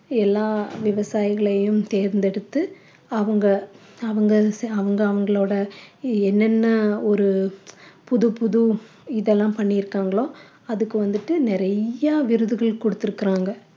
எல்லா விவசாயிகளையும் தேர்ந்தெடுத்து அவங்க அவங்க அவங்க அவங்களோட என்னென்ன ஒரு புது புது இதெல்லாம் பண்ணி இருக்காங்களோ அதுக்கு வந்துட்டு நிறையா விருதுகள் குடுத்திருக்காங்க